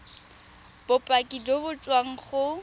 bopaki jo bo tswang go